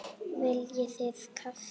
Viljið þið kaffi?